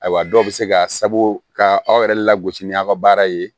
Ayiwa dɔw bɛ se ka sabu ka aw yɛrɛ lagosi ni aw ka baara ye